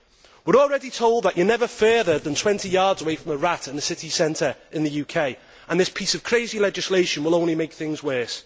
We are already told that you are never further than 20 yards away from a rat in a city centre in the UK. This piece of crazy legislation will only make things worse.